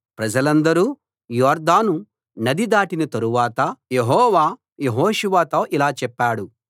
ప్రజలందరూ యొర్దానును నది దాటిన తరువాత యెహోవా యెహోషువతో ఇలా చెప్పాడు